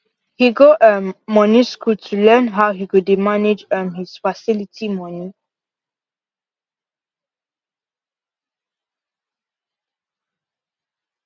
he go um moni school to learn how he go dey manage um his utility moni